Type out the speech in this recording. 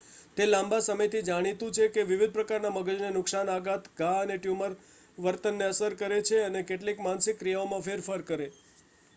તે લાંબા સમયથી જાણીતું છે કે વિવિધ પ્રકારના મગજને નુકસાન આઘાત ઘા અને ટ્યુમર વર્તનને અસર કરે છે અને કેટલીક માનસિક ક્રિયાઓમાં ફેરફાર કરે